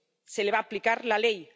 Se le va a aplicar la ley.